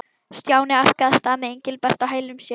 Stjáni arkaði af stað með Engilbert á hælum sér.